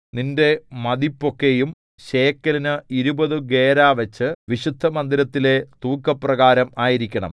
നിന്റെ മതിപ്പൊക്കെയും ശേക്കെലിന് ഇരുപതു ഗേരാവച്ച് വിശുദ്ധമന്ദിരത്തിലെ തൂക്കപ്രകാരം ആയിരിക്കണം